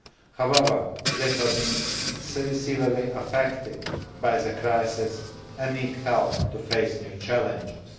However, they have been seriously affected by the crisis and need help to face new challenges.